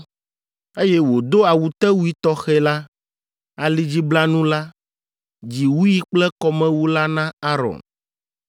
eye wòdo awutewui tɔxɛ la, alidziblanu la, dziwui kple kɔmewu la na Aron.